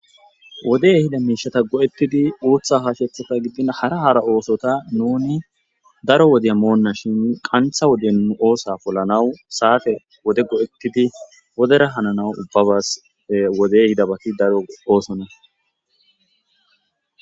wode hida miishata go7ettidi uutha haashethata giddin hara haara oosota nuni daro wodeya moonna shin qantha woden oosa pollanaw saafe wode go7ettidi wodera hananaw ubbabas wodey hidabati daro oosona